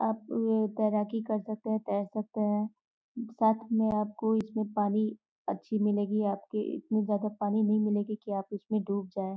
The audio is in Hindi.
आप ये तैराकी कर सकते हैं तैर सकते हैं। साथ में आपको इसमें पानी अच्छी मिलेगी। आपके इतनी जादा पानी नहीं मिलेगी की आप इसमें डूब जाए।